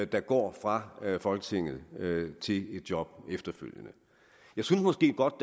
der går fra folketinget til et job efterfølgende jeg synes måske godt